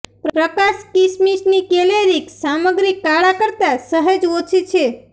પ્રકાશ કિસમિસની કેલરીક સામગ્રી કાળા કરતાં સહેજ ઓછી છે